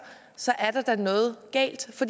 så er der da noget galt